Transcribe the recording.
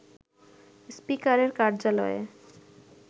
স্পিকারের কার্যালয়ে